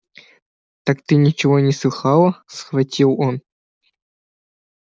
так ты ничего не слыхала схватил он